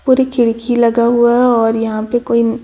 पूरी खिड़की लगा हुआ है और यहां पर कोई--